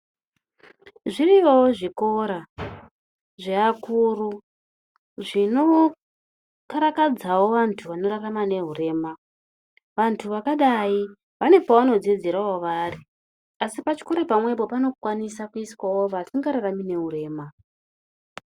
Zviriyowo zvikoro zveakuru zvinokarakadzawo vantu vanorarama nehurema. Vantu vakadai vane kwavanodzidzirawo vari asi pachikora pamwepo panokwanisa kuiswawo vasingararami nehurema.